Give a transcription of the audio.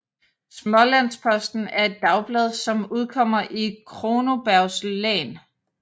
Smålandsposten er et dagblad som udkommer i Kronobergs län